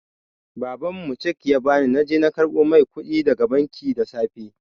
Baban mu cheque ya ba ni na je na karɓo mai kuɗi daga banki da safe.